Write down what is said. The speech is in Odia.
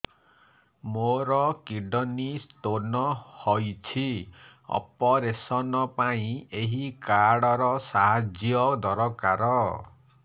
ମୋର କିଡ଼ନୀ ସ୍ତୋନ ହଇଛି ଅପେରସନ ପାଇଁ ଏହି କାର୍ଡ ର ସାହାଯ୍ୟ ଦରକାର